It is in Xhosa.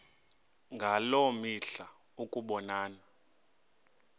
ngaloo mihla ukubonana